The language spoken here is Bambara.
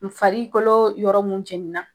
N farikolo yɔrɔ minnu jɛni na.